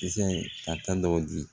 Kisɛ ka taa dɔɔnin